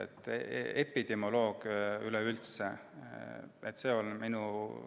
Nii et epidemioloogia üleüldse.